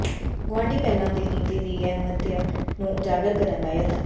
ਗੁਆਂਢੀ ਪਹਿਲਾਂ ਦੀ ਨੀਤੀ ਦੀ ਅਹਿਮੀਅਤ ਨੂੰ ਉਜਾਗਰ ਕਰਨ ਦਾ ਯਤਨ